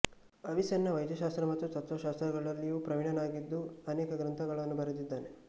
Avicenna ವೈದ್ಯಶಾಸ್ತ್ರ ಮತ್ತು ತತ್ತ್ವಶಾಸ್ತ್ರಗಳಲ್ಲಿಯೂ ಪ್ರವೀಣನಾಗಿದ್ದು ಅನೇಕ ಗ್ರಂಥಗಳನ್ನು ಬರೆದಿದ್ದಾನೆ